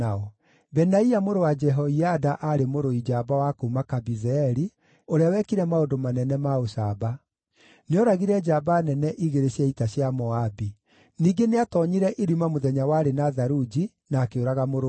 Benaia mũrũ wa Jehoiada aarĩ mũrũi njamba wa kuuma Kabizeeli, ũrĩa wekire maũndũ manene ma ũcamba. Nĩooragire njamba nene igĩrĩ cia ita cia Moabi. Ningĩ nĩatoonyire irima mũthenya warĩ na tharunji, na akĩũraga mũrũũthi.